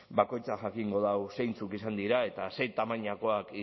bakoitzak jakingo du zeintzuk izan diren eta sei tamainakoak